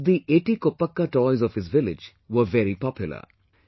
Once the Eti Koppakaa toys of his village were very popular